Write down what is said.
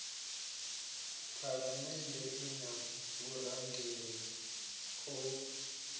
phalamennde i na vhurangeli ho